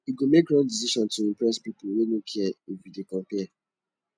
you go make wrong decision to impress pipo wey no care if you dey compare